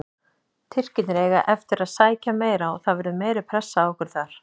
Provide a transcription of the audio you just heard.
Tyrkirnir eiga eftir að sækja meira og það verður meiri pressa á okkur þar.